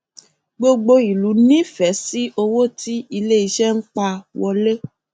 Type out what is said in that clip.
gbogbo ìlú nífẹẹ sí owó tí iléiṣẹ ń pa wọlé